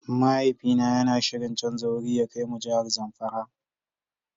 Mahaifi na yana shirin canza wuri ya kai mu jihar zamfara.